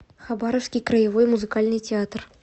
хабаровский краевой музыкальный театр